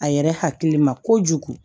A yɛrɛ hakili ma kojugu